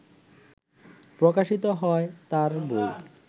প্রকাশিত হয় তার বই